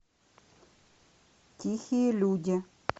тихие люди